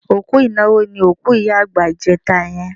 Òkú ìnáwó ni òkú ìyá àgbà ìjẹta yẹn.